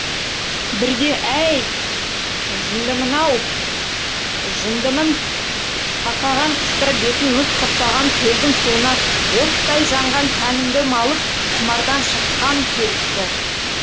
бірде әй жындымын ау жындымын қақаған қыста бетін мұз құрсаған көлдің суына оттай жанған тәнімді малып құмардан шыққам келді